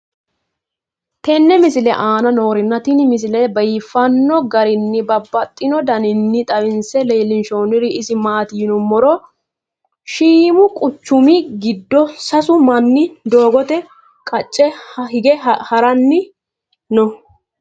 tenne misile aana noorina tini misile biiffanno garinni babaxxinno daniinni xawisse leelishanori isi maati yinummoro shiimmu quchummi giddo sasu manni doogotte qacce hige haranni noo